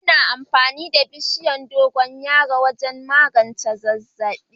Ana amfani da bishiyar dogoyaro wajen magance zazzabi.